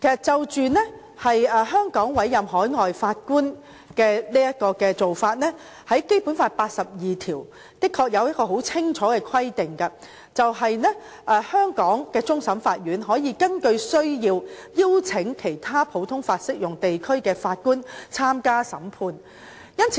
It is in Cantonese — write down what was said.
關於香港委任海外法官的做法，《基本法》第八十二條的確有清楚規定，香港的終審法院可根據需要邀請其他普通法適用地區的法官參加審判。